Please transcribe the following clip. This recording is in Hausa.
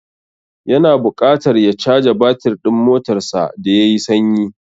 Ya na buƙatar ya caja batir ɗin motarsa da ya yi sanyi.